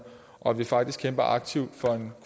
og faktisk kæmpe aktivt for en